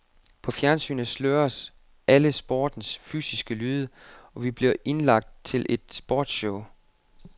På fjernsynet sløres alle sportens fysiske lyde, og vi bliver indlagt til et sportsshow.